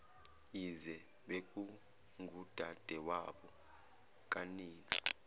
yize bekungudadewabo kanina